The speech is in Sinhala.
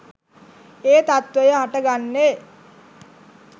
ඒ තත්ත්වය හට ගන්නේ.